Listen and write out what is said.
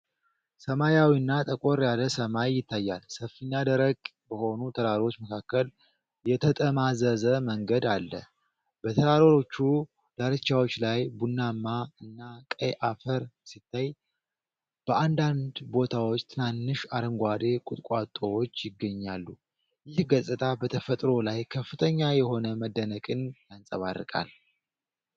ሰማያዊና ጠቆር ያለ ሰማይ ይታያል፤ ሰፊና ደረቅ በሆኑ ተራሮች መካከል የተጠማዘዘ መንገድ አለ። በተራሮቹ ዳርቻዎች ላይ ቡናማ እና ቀይ አፈር ሲታይ፣ በአንዳንድ ቦታዎች ትናንሽ አረንጓዴ ቁጥቋጦዎች ይገኛሉ። ይህ ገጽታ በተፈጥሮ ላይ ከፍተኛ የሆነ መደነቅን ያንጸባርቃል።